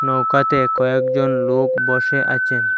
নৌকাতে কয়েকজন লোক বসে আচেন।